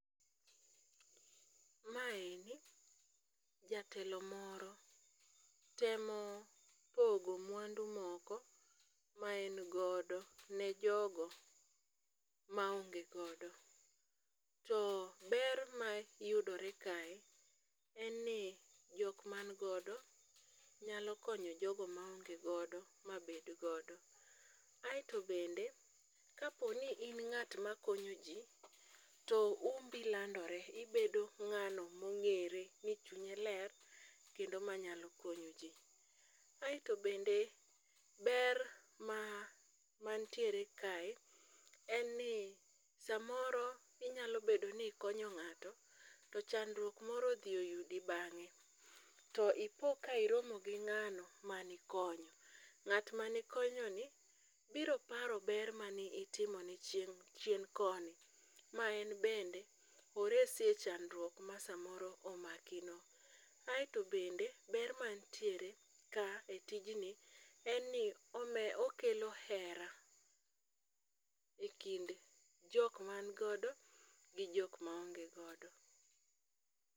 Maendi jatelo moro temopogo mwandu moko ma en godo ne jogo maonge godo, to ber mayudore kae en ni jok man godo nyalo konyo jogo maonge godo mabed godo. Aeto bende, kapo ni in ng'at makonyoji, to umbi landore, ibedo ng'ano mong'ere ni chunye ler kendo manyalo konyoji. Aeto bende, ber mantiere kae, en ni samoro inyalo bedo ni ikonyo ng'ato to chandruok moro odhi yudi bang'e, to ipo ka iromo gi ng'ano manikonyo, ng'at manikonyoni biro paro ber mane itimone chien koni, ma en bende oresi e chandruok ma samoro omakino. Aeto bende ber manitiere ka,e tijni en ni okelo hera e kind jok mangodo, gi jok maonge godo .